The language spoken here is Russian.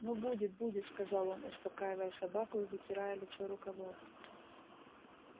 ну будет будет сказал он успокаивая собаку и вытирая лицо рукавом